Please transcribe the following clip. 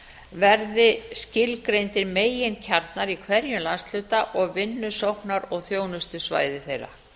verði skilgreindir meginkjarnar í hverjum landshluta og vinnusóknar og þjónustusvæði þeirra